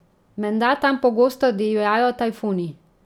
Menda tam pogosto divjajo tajfuni.